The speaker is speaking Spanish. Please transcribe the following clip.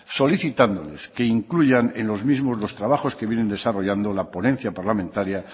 solicitándoles que incluyan en los mismos los trabajos que viene desarrollando la ponencia parlamentaria